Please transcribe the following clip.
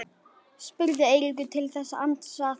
spurði Eiríkur til þess að ansa þessu ekki.